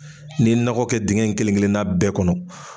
N'i ye nɔgɔ kɛ dingɛ in kelen kelenna bɛɛ kɔnɔ